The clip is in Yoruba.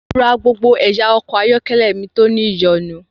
Mo ra gbogbo ẹ̀yà ọkọ̀ ayọ́kẹ́lẹ́ mi tó ní ìyọ̀nu.